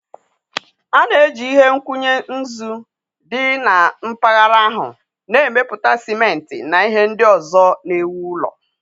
A na-eji ihe nkwụnye nzu dị na mpaghara ahụ na-emepụta ciment na ihe ndị ọzọ na-ewu ụlọ.